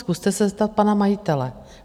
Zkuste se zeptat pana majitele.